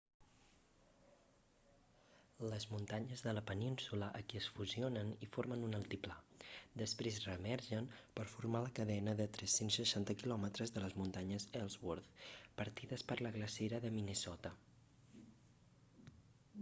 les muntanyes de la península aquí es fusionen i formen un altiplà després reemergeixen per formar la cadena de 360 km de les muntanyes ellsworth partides per la glacera de minnesota